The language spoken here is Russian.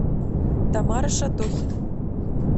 тамара шатохина